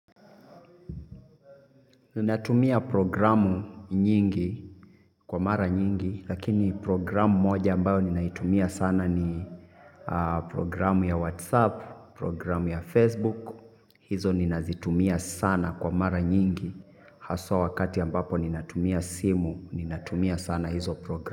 Ninatumia programu nyingi kwa mara nyingi lakini programu moja ambayo ninaitumia sana ni programu ya whatsapp programu ya facebook. Hizo ninazitumia sana kwa mara nyingi haswa wakati ambapo ninatumia simu ninatumia sana hizo programu.